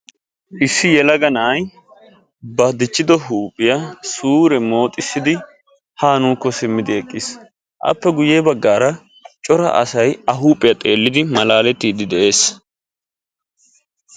Issi yelaga nay baw diccido huuphiyaa suure mooxxissidi ha nuukko simmidi eqiis. Appe guyye baggara cora asay aakko simmidi malaaletide de'ees.